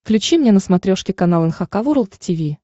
включи мне на смотрешке канал эн эйч кей волд ти ви